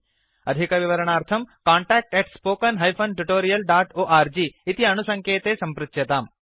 अधिकविवरणार्थं contact spoken tutorialorg इति अणुसङ्केते सम्पृच्यताम्